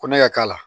Ko ne ka k'a la